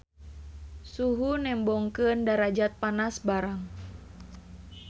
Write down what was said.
Suhu nembongkeun darajat panas barang.